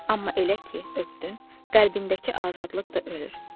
Amma elə ki öpdün, qəlbindəki azadlıq da ölür.